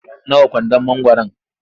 Nawa kwandon mangwaro?